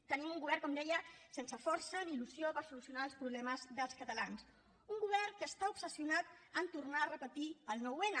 tenim un govern com deia sense força ni il·lusió per solucionar els problemes dels catalans un govern que està obsessionat a tornar a repetir el nou n